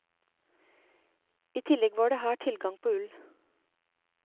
I tillegg var det her god tilgang på ull.